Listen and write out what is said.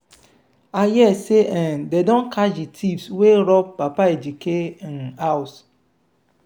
i hear say um dey don catch the thieves wey rob papa ejike um house.